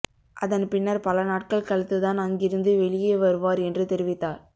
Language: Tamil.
அதன் பின்னர் பல நாட்கள் கழித்துதான் அங்கிருந்து வெளியே வருவார் என்று தெரிவித்தார்